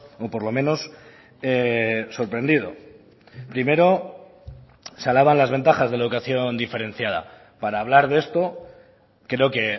o por lo menos sorprendido primero se alaban las ventajas de la educación diferenciada para hablar de esto creo que